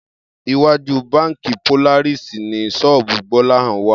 Iwájú báǹkì Polaris ni ṣọ́ọ̀bù Gbọ́láhàn wà